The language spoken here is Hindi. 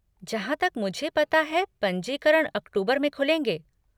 जहाँ तक मुझे पता है पंजीकरण अक्टूबर में खुलेंगे।